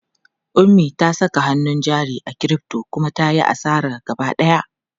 Ummi ta saka hannun jari a crypto kuma ta yi asara gaba ɗaya.